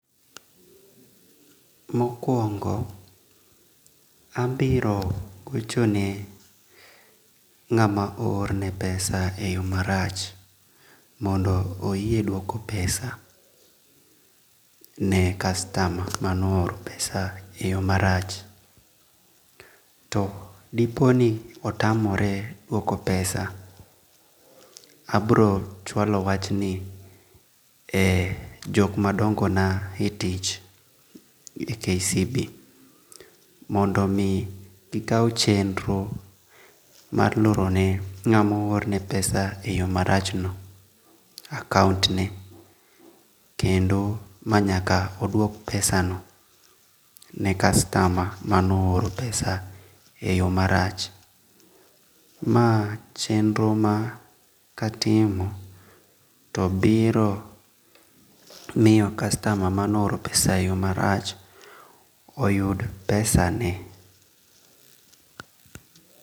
Mokuongo abiro gochone nga'ma ohorne pesa e yo marach mondo oyie duoko pesa ne customer mano oro pesa e yo marach to diponi otamore duoko pesa abro chualo wachni ne jok ma dongo'na e tich e KCB mondo mi gikau chendro mar lorone nga'mo ohorne pesa e yo marachno account, kendo ma nyaka oduok pesano ne customer mano oro pesa e yo marach mae en chendro ma katimo to biro miyo customer mane ohoro pesa e yo marach oyud pesane.